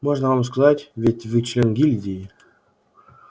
можно вам сказать ведь вы член гильдии